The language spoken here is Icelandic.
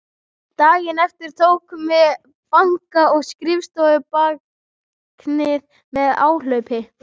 Daginn eftir tókum við banka- og skrifstofubáknið með áhlaupi.